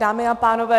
Dámy a pánové.